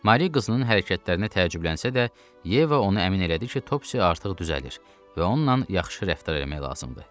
Mari qızının hərəkətlərinə təəccüblənsə də, Yeva onu əmin elədi ki, Topci artıq düzəlir və onunla yaxşı rəftar eləmək lazımdır.